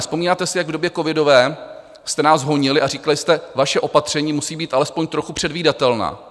Vzpomínáte si, jak v době covidové jste nás honili a říkali jste "vaše opatření musí být alespoň trochu předvídatelná"?